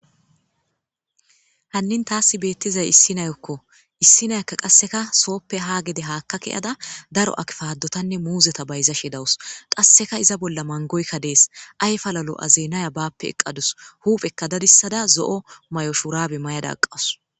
Hannin thaassi beeththizay issi nayokko; issi nayakka qasseka sooppe ha gede haakka kiyada daro akpaadothanne muuzetha bayzzashe dawus; qasseka iza bolla manggoykka de7ees; ayfala lo7azeenaya baappe eqqa dawus; huupheekka dadissada zo7o mayo shuraabe mayada aqqawus.